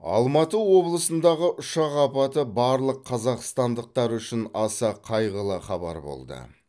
алматы облысындағы ұшақ апаты барлық қазақстандықтар үшін аса қайғылы хабар болды